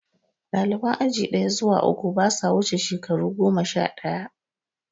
Ɗaliban aji ɗaya zuwa uku, ba sa wuce shekaru goma sha ɗaya.